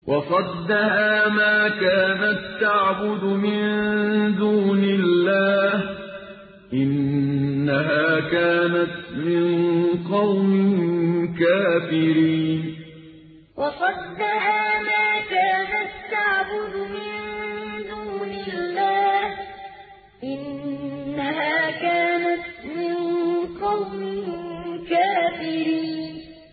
وَصَدَّهَا مَا كَانَت تَّعْبُدُ مِن دُونِ اللَّهِ ۖ إِنَّهَا كَانَتْ مِن قَوْمٍ كَافِرِينَ وَصَدَّهَا مَا كَانَت تَّعْبُدُ مِن دُونِ اللَّهِ ۖ إِنَّهَا كَانَتْ مِن قَوْمٍ كَافِرِينَ